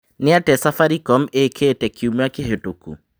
nĩ atĩa safaricom ĩkĩte kĩumĩa kĩhetũku